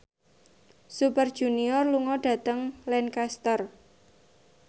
Super Junior lunga dhateng Lancaster